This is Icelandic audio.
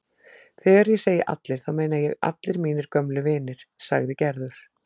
Þegar ég segi allir þá meina ég allir mínir gömlu vinir sagði Gerður.